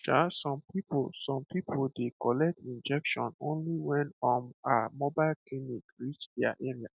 um um some people some people dey collect injection only when um mobile clinic reach their area